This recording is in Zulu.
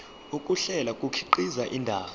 ukuhlela kukhiqiza indaba